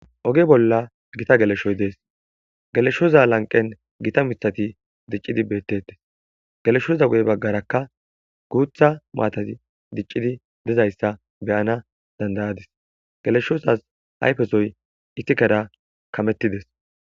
Oge bolla gita geleshoy dees. Geleshoza lanqen gita mithati dicidi beetetes. Geleshoza huphe bagaraka gutha maatati dicidi dizaysa beyanas dandayadis. Geleshozas ayfe soy isikera kametides.